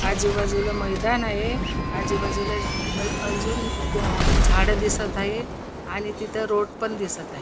आजुबाजुला मैदान आहे आजुबाजुला आजुन अ झाड दिसत आहे आणि तिथ रोड पण दिसत आहे.